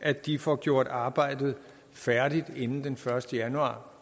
at de får gjort arbejdet færdigt inden den første januar